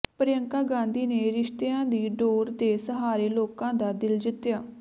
ਪ੍ਰਿਅੰਕਾ ਗਾਂਧੀ ਨੇ ਰਿਸ਼ਤਿਆਂ ਦੀ ਡੋਰ ਦੇ ਸਹਾਰੇ ਲੋਕਾਂ ਦਾ ਦਿਲ ਜਿੱਤਿਆ